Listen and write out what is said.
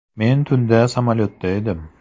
Men tunda samolyotda edim.